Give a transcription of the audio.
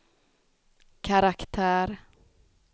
karaktär